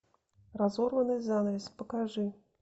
разорванный занавес покажи